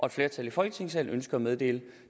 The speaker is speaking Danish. et flertal i folketingssalen ønsker at meddele